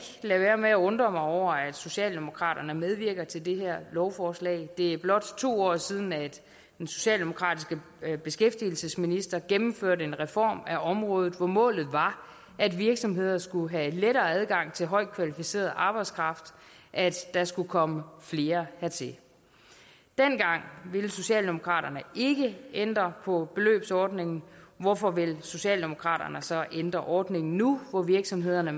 lade være med at undre mig over at socialdemokraterne medvirker til det her lovforslag det er blot to år siden at en socialdemokratisk beskæftigelsesminister gennemførte en reform af området hvor målet var at virksomheder skulle have lettere adgang til højt kvalificeret arbejdskraft at der skulle komme flere hertil dengang ville socialdemokraterne ikke ændre på beløbsordningen hvorfor vil socialdemokraterne så ændre ordningen nu hvor virksomhederne